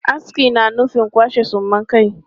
Aski na nufin kwashe suman kai.